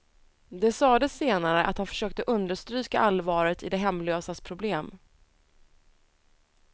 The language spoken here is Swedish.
Det sades senare att han försökte understryka allvaret i de hemlösas problem.